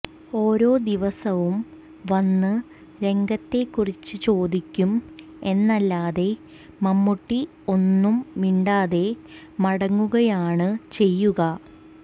ഓരോ ദിവസവും വന്ന് രംഗത്തെക്കുറിച്ച് ചോദിക്കും എന്നല്ലാതെ മമ്മൂട്ടി ഒന്നും മിണ്ടാതെ മടങ്ങുകയാണ് ചെയ്യുക